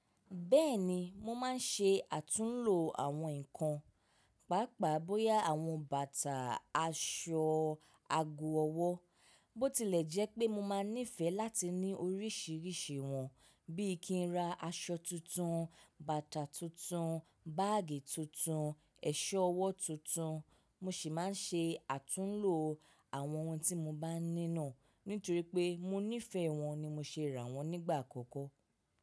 Bẹ́ẹ̀ni mo máa ń ṣe àtúnlo àwọn nǹkan, pàápàá bóyá àwọn bàtà, aṣọ, ago ọwọ́, bó tilẹ̀ jẹ́ pé mo máa nífẹ̀ẹ́ láti ní oríṣìíríṣìí wọn, bí i kí n ra aṣọ tuntun, bàtà tuntun, báàgì tuntun, ẹ̀ṣọ́ ọwọ́ tuntun, mo sì máa ń ṣe àtúnlo àwọn ohun tí mo bá nínà. Nítorí pé mo nífẹ̀ẹ́ wọn ni mo ṣe rà wọ́n nígbà àkọ́kọ́.